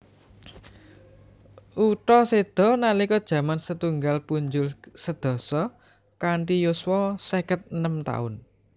Utha seda nalika jam setunggal punjul sedasa kanthi yuswa seket enem taun